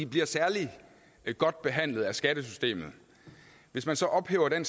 bliver særlig godt behandlet af skattesystemet hvis man så ophæver den